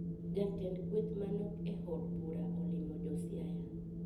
Jatend kweth manok e od bura olimo josiaya